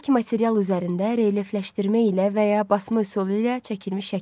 Bərk material üzərində relyefləşdirmə ilə və ya basma üsulu ilə çəkilmiş şəkil.